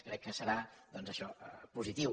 crec que serà doncs això positiu